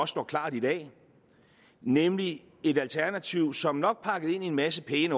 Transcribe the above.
står klart i dag nemlig et alternativ som nok er pakket ind i en masse pæne